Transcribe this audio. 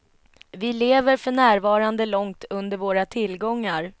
Vi lever för närvarande långt under våra tillgångar.